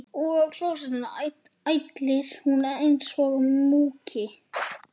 Og á klósettinu ælir hún einsog múkki.